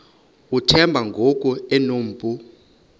uthemba ngoku enompu